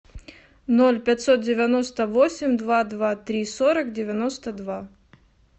ноль пятьсот девяносто восемь два два три сорок девяносто два